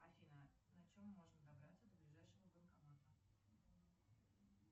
афина на чем можно добраться до ближайшего банкомата